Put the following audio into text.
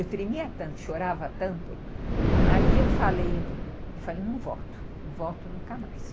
Eu tremia tanto, chorava tanto, aí eu falei, eu falei, não volto, não volto nunca mais.